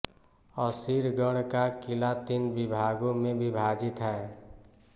असीरगढ़ का क़िला तीन विभागों में विभाजित है